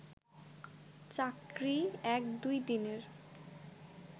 চাকরি এক-দুই দিনের